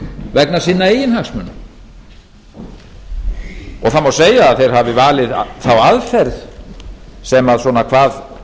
vegna sinna eigin hagsmuna það má segja að þeir hafi valið þá aðferð sem svona hvað